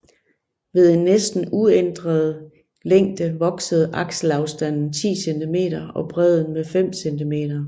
Ved en næsten uændret længde voksede akselafstanden 10 cm og bredden med 5 cm